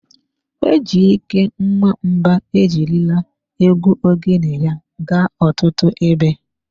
Ejyke Nwamba ejirila egwu Ogene ya gaa ọtụtụ ebe.